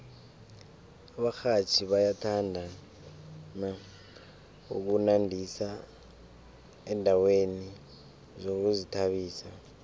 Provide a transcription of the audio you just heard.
abarhatjhi bayathanda ukunandisa endaweni zokuzithabisa